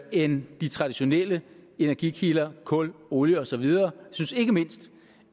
end de traditionelle energikilder kul olie og så videre jeg synes ikke mindst